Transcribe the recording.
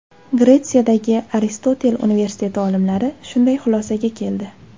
Gretsiyadagi Aristotel universiteti olimlari shunday xulosaga keldi.